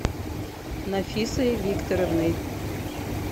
нафисой викторовной